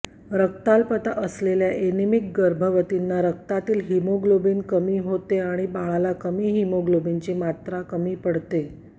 रक्ताल्पता असलेल्या एनिमिक गर्भवतीनां रक्तातील होमोग्लोबिन कमी होते आणि बाळाला कमी होमोग्लोबिनची मात्र कमी पडते